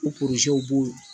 U b'o